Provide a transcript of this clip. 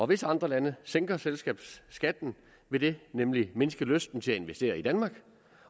hvis andre lande sænker selskabsskatten vil det nemlig mindske lysten til at investere i danmark